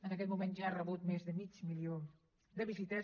en aquest moment ja ha rebut més de mig milió de visites